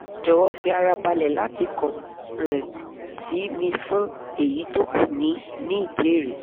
jọ̀wọ́ fi ara balẹ̀ láti kàn um sí mi fún èyí tó kù ní ní ìbéèrè